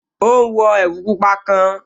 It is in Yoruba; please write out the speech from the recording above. Ó ún wọ ẹ̀wù pupa kan